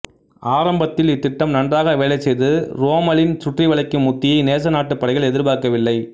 ஆரம்பத்தில் இத்திட்டம் நன்றாக வேலை செய்தது ரோம்மலின் சுற்றி வளைக்கும் உத்தியை நேச நாட்டுப்படைகள் எதிர்பார்க்கவில்லை